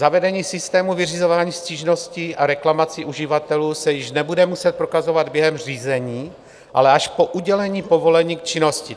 Zavedení systému vyřizování stížností a reklamací uživatelů se již nebude muset prokazovat během řízení, ale až po udělení povolení k činnosti.